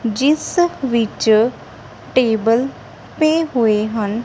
ਜਿਸ ਵਿੱਚ ਟੇਬਲ ਪਏ ਹੋਏ ਹਨ।